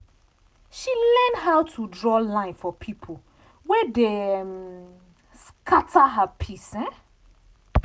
she learn how to draw line for people wey dey um scatter her peace.